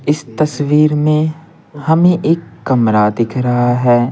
इस तस्वीर में हमें एक कमरा दिख रहा है।